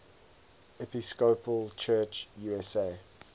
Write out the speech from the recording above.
episcopal church usa